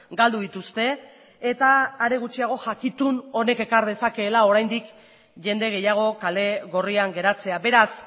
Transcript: galdu dituzte eta are gutxiago jakitun honek ekar dezakeela oraindik jende gehiago kale gorrian geratzea beraz